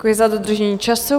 Děkuji za dodržení času.